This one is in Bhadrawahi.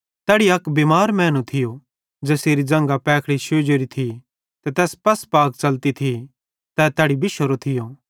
तैड़ी अक बिमार मैनू थियो ज़ेसेरी ज़ंघां पैखड़ी शोजती थी ते पसपाक च़लती थी तै तैड़ी बिशोरो थियो